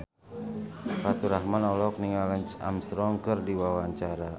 Faturrahman olohok ningali Lance Armstrong keur diwawancara